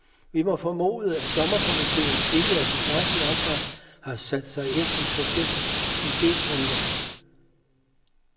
Vi må formode, at dommerkomiteen ikke i tilstrækkeligt omfang har sat sig ind i projektets idegrundlag.